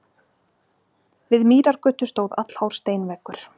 Við Mýrargötu stóð allhár steinveggur.